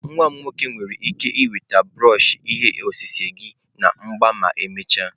Nwa m nwoke nwere ike iweta brush ihe osise gị na agba ma emechaa.